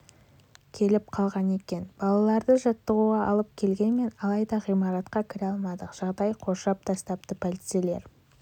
келіп қалған екен балаларды жаттығуға алып келгенмін алайда ғимаратқа кіре алмадық жағалай қоршап тастапты полицейлер